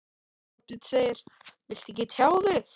Þorbjörn: Viltu ekki tjá þig?